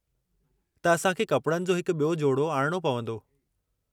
त असां खे कपड़नि जो हिकु ॿियो जोड़ो आणिणो पंवदो।